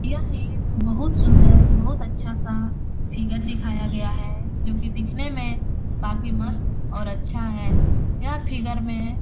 यह एक बहुत सुन्दर बहुत अच्छा सा फिगर दिखाया गया है जो कि दिखने में काफ़ी मस्त और अच्छा है यह फिगर में --